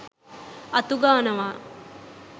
අතු ගානවා